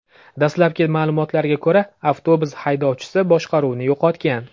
Dastlabki ma’lumotlarga ko‘ra, avtobus haydovchisi boshqaruvni yo‘qotgan.